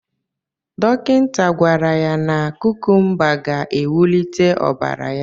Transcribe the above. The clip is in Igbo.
Dọkịta gwara ya na kukumba ga-ewulite ọbara ya.